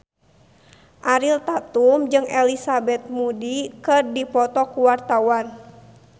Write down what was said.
Ariel Tatum jeung Elizabeth Moody keur dipoto ku wartawan